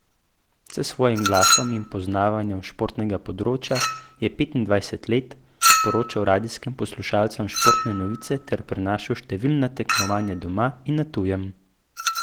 S svojim glasom in poznavanjem športnega področja je petindvajset let sporočal radijskim poslušalcem športne novice ter prenašal številna tekmovanja doma in na tujem.